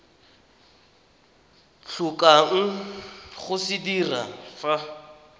tlhokang go se dira fa